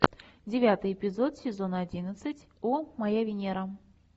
девятый эпизод сезон одиннадцать о моя венера